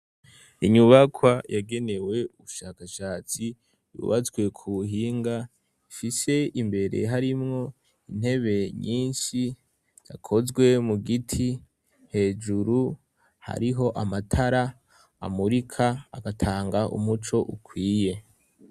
Inyubakwa yagenewe ubushakashatsi bubatswe ku buhinga, ifise imbere harimwo intebe nyinshi yakozwe mu giti hejuru hariho amatara amurika agatanga umuco ukwiye.